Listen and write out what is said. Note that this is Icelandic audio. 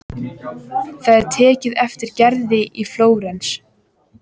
Það er tekið eftir Gerði í Flórens.